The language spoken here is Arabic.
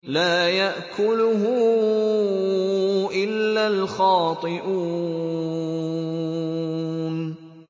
لَّا يَأْكُلُهُ إِلَّا الْخَاطِئُونَ